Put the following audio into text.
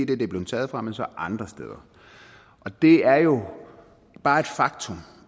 det de er blevet taget fra men så til andre steder og det er jo bare et faktum